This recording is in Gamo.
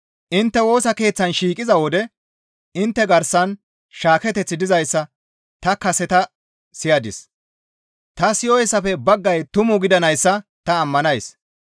Intte Woosa Keeththan shiiqiza wode intte garsan shaaketeththi dizayssa ta kaseta siyadis; ta siyoyssafe baggay tumu gidanayssa ta ammanays.